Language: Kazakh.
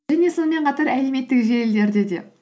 және сонымен қатар әлеуметтік желілерде де